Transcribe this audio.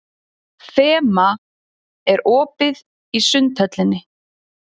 Fema, er opið í Sundhöllinni?